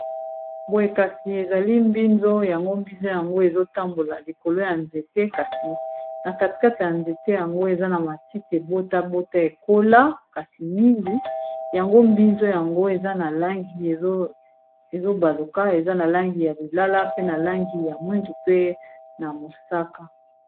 Boye kasi, ezali mbinzo, yango mbinzo yango ezo tambola likolo ya nzete. Ķasi na katikati ya nzete yango, eza na matiti ebotabota ekola kasi mingi. Yango mbizo yango, eza na langi ezo baluka. Eza na langi ya lilala, pe na langi ya mwindu, pe na mosaka.